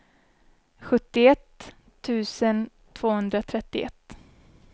sjuttioett tusen tvåhundratrettioett